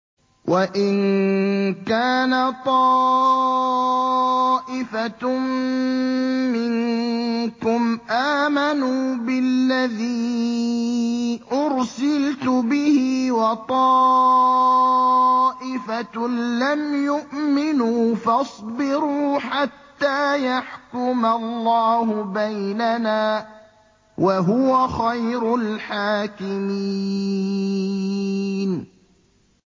وَإِن كَانَ طَائِفَةٌ مِّنكُمْ آمَنُوا بِالَّذِي أُرْسِلْتُ بِهِ وَطَائِفَةٌ لَّمْ يُؤْمِنُوا فَاصْبِرُوا حَتَّىٰ يَحْكُمَ اللَّهُ بَيْنَنَا ۚ وَهُوَ خَيْرُ الْحَاكِمِينَ